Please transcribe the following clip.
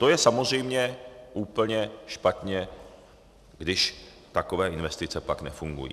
To je samozřejmě úplně špatně, když takové investice pak nefungují.